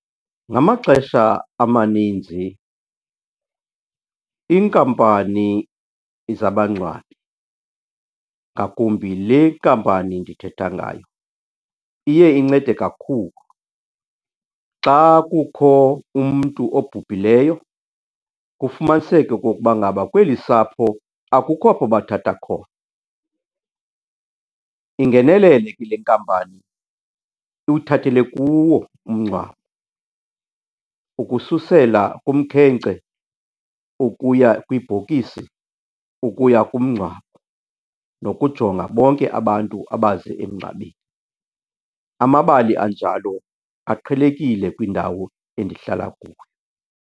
Ngamaxesha amaninzi, iinkampani zabangcwabi, ngakumbi le nkampani ndithetha ngayo, iye incede kakhulu. Xa kukho umntu obhubhileyo kufumaniseke okokuba ngaba kweli sapho akukho apho bathatha khona, ingenelele ke le nkampani iwuthathele kuwo umngcwabo ukususela kumkhenkce ukuya kwibhokisi ukuya kumngcwabo nokujonga bonke abantu abaze emngcwabeni. Amabali anjalo aqhelekile kwindawo endihlala kuyo.